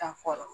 Ta fɔlɔ